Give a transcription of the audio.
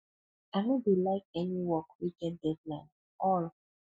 i no dey like any work wey get deadline at all